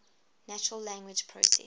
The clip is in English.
natural language processing